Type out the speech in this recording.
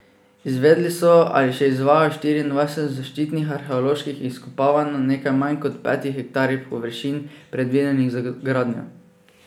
Izvedli so ali še izvajajo štiriindvajset zaščitnih arheoloških izkopavanj na nekaj manj kot petih hektarjih površin, predvidenih za gradnjo.